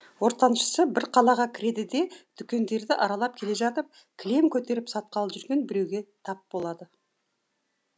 ортаншысы бір қалаға кіреді де дүкендерді аралап келе жатып кілем көтеріп сатқалы жүрген біреуге тап болады